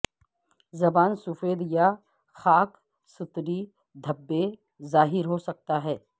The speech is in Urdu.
زبان سفید یا خاکستری دھبے ظاہر ہو سکتا ہے